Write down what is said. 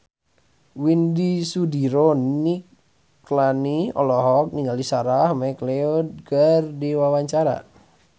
Widy Soediro Nichlany olohok ningali Sarah McLeod keur diwawancara